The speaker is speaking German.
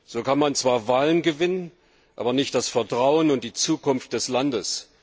So kann man zwar Wahlen gewinnen, aber nicht das Vertrauen in die Zukunft des Landes.